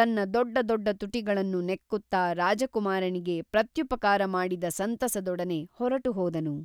ತನ್ನ ದೊಡ್ಡ ದೊಡ್ಡ ತುಟಿಗಳನ್ನು ನೆಕ್ಕುತ್ತಾ ರಾಜಕುಮಾರನಿಗೆ ಪ್ರತ್ಯುಪಕಾರ ಮಾಡಿದ ಸಂತಸದೊಡನೆ ಹೊರಟುಹೋದನು